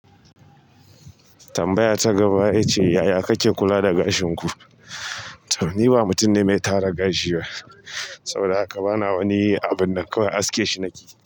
Tambaya ta gaba ita ce, yaya kake kula da gashin ku? To ni ba mutum ne mai tara gashi ba saboda haka bana wani abu nan kawai aske shi nake.